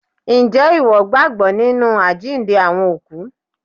Ǹjẹ́ ìwọ gbàgbọ́ nínu àjíǹde Àwọn ÒKÚ?